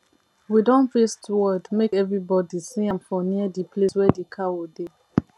we don paste word make every body see am for near the place wey the cow dey